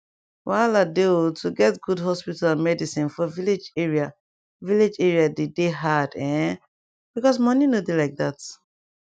wahala dey o to get good hospital and medicin for village area village area dey dey hard[um]because money nor dey like that